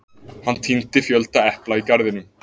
hann tíndi fjölda epla í garðinum